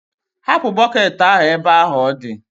hapụ bọketị ahụ ebe ahụ ọ dị!